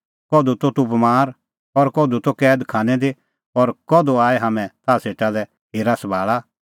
कधू त तूह बमार कधू त तूह कैद खानै दी और कधू आऐ हाम्हैं ताह सेटा लै हेरा सभाल़ा